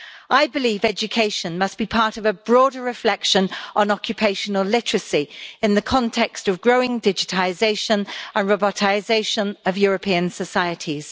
I believe education must be part of a broader reflection on occupational literacy in the context of growing digitisation and robotisation of European societies.